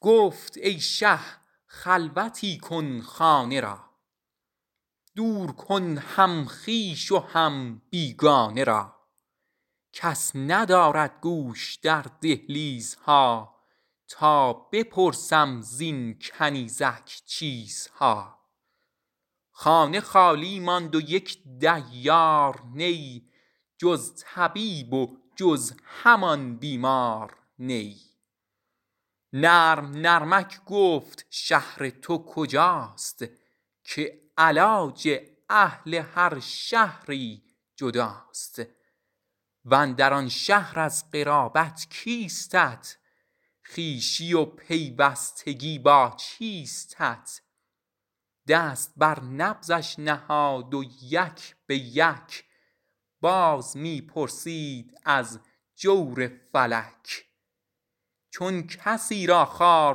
گفت ای شه خلوتی کن خانه را دور کن هم خویش و هم بیگانه را کس ندارد گوش در دهلیزها تا بپرسم زین کنیزک چیزها خانه خالی ماند و یک دیار نه جز طبیب و جز همان بیمار نه نرم نرمک گفت شهر تو کجاست که علاج اهل هر شهری جداست واندر آن شهر از قرابت کیستت خویشی و پیوستگی با چیستت دست بر نبضش نهاد و یک بیک باز می پرسید از جور فلک چون کسی را خار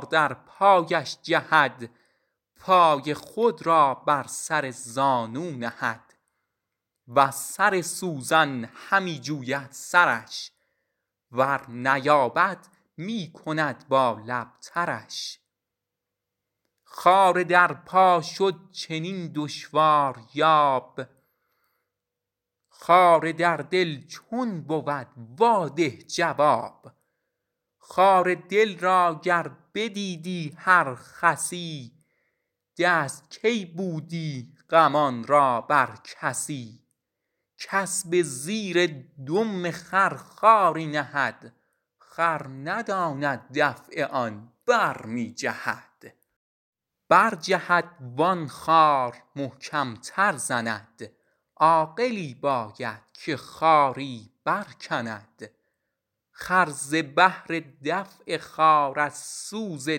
در پایش جهد پای خود را بر سر زانو نهد وز سر سوزن همی جوید سرش ور نیابد می کند با لب ترش خار در پا شد چنین دشواریاب خار در دل چون بود وا ده جواب خار در دل گر بدیدی هر خسی دست کی بودی غمان را بر کسی کس به زیر دم خر خاری نهد خر نداند دفع آن برمی جهد برجهد وان خار محکم تر زند عاقلی باید که خاری برکند خر ز بهر دفع خار از سوز و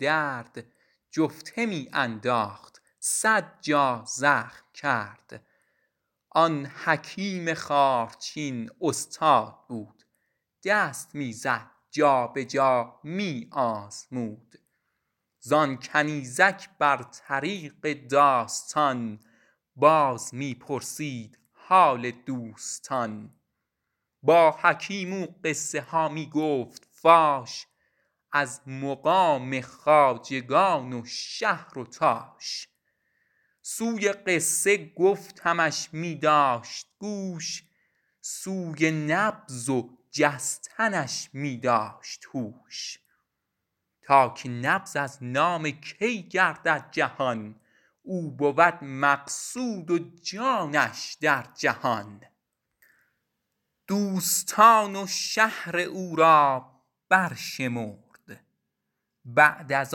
درد جفته می انداخت صد جا زخم کرد آن حکیم خارچین استاد بود دست می زد جابجا می آزمود زان کنیزک بر طریق داستان باز می پرسید حال دوستان با حکیم او قصه ها می گفت فاش از مقام و خواجگان و شهر و باش سوی قصه گفتنش می داشت گوش سوی نبض و جستنش می داشت هوش تا که نبض از نام کی گردد جهان او بود مقصود جانش در جهان دوستان و شهر او را برشمرد بعد از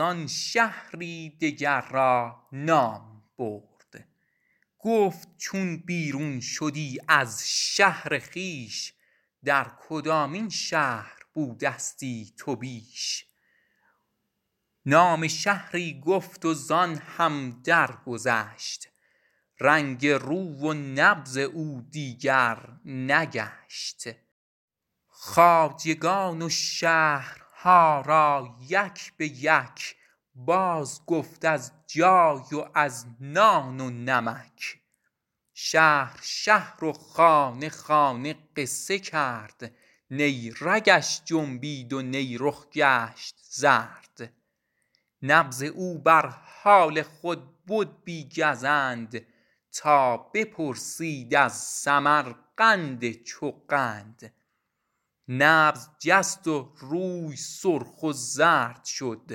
آن شهری دگر را نام برد گفت چون بیرون شدی از شهر خویش در کدامین شهر بودستی تو بیش نام شهری گفت و زان هم درگذشت رنگ روی و نبض او دیگر نگشت خواجگان و شهرها را یک بیک باز گفت از جای و از نان و نمک شهر شهر و خانه خانه قصه کرد نه رگش جنبید و نه رخ گشت زرد نبض او بر حال خود بد بی گزند تا بپرسید از سمرقند چو قند نبض جست و روی سرخ و زرد شد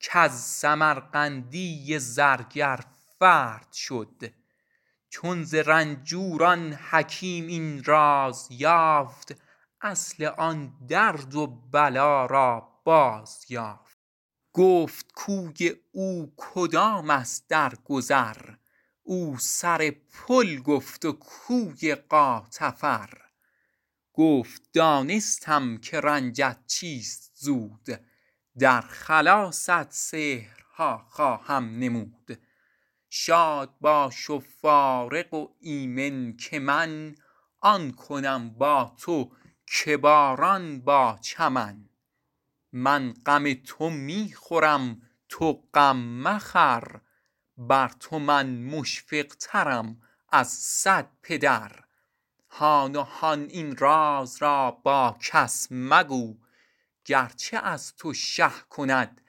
کز سمرقندی زرگر فرد شد چون ز رنجور آن حکیم این راز یافت اصل آن درد و بلا را باز یافت گفت کوی او کدام است در گذر او سر پل گفت و کوی غاتفر گفت دانستم که رنجت چیست زود در خلاصت سحرها خواهم نمود شاد باش و فارغ و آمن که من آن کنم با تو که باران با چمن من غم تو می خورم تو غم مخور بر تو من مشفق ترم از صد پدر هان و هان این راز را با کس مگو گرچه از تو شه کند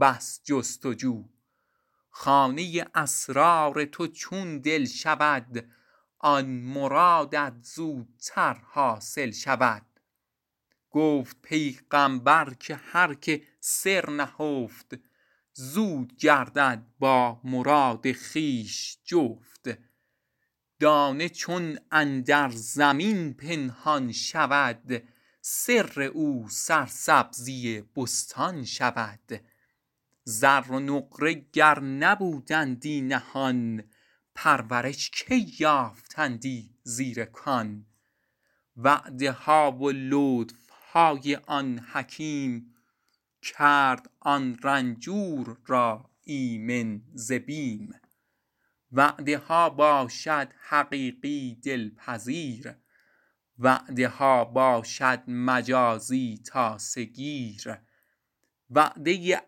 بس جست و جو خانه اسرار تو چون دل شود آن مرادت زودتر حاصل شود گفت پیغامبر که هر که سر نهفت زود گردد با مراد خویش جفت دانه چون اندر زمین پنهان شود سر او سرسبزی بستان شود زر و نقره گر نبودندی نهان پرورش کی یافتندی زیر کان وعده ها و لطف های آن حکیم کرد آن رنجور را آمن ز بیم وعده ها باشد حقیقی دل پذیر وعده ها باشد مجازی تاسه گیر وعده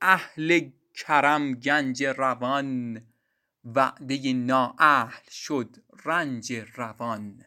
اهل کرم گنج روان وعده نااهل شد رنج روان